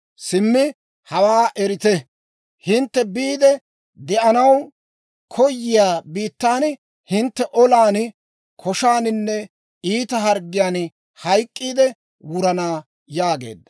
Simmi hawaa erite: hintte biide de'anaw koyiyaa biittan hintte olan, koshaaninne iita harggiyaan hayk'k'iide wurana» yaageedda.